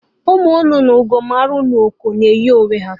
Ụmụ nnụnụ Ugoomalụ na Ụkọ na eyi onwe ha